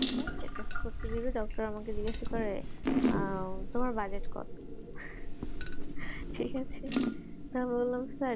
ঠিক আছে test করতে দেবে doctor আমাকে জিজ্ঞাসা আহ তোমার budget কত ঠিক আছে তা বলাম